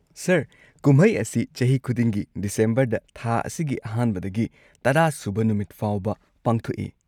Sir, ꯀꯨꯝꯍꯩ ꯑꯁꯤ ꯆꯍꯤ ꯈꯨꯗꯤꯡꯒꯤ ꯗꯤꯁꯦꯝꯕꯔꯗ, ꯊꯥ ꯑꯁꯤꯒꯤ ꯑꯍꯥꯟꯕꯗꯒꯤ ꯇꯔꯥꯁꯨꯕ ꯅꯨꯃꯤꯠ ꯐꯥꯎꯕ ꯄꯥꯡꯊꯣꯛꯏ꯫